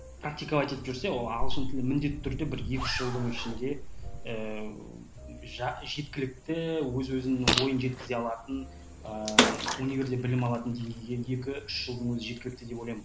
практиковать етіп жүрсе ол ағылшын тілі міндетті түрде бір екі үш жылдың ішінде ііі жеткілікті өз өзінің ойын жеткізе алатын ыыы универде білім алатын деңгейіндегі үш жылдың өзі жеткілікті деп ойлаймын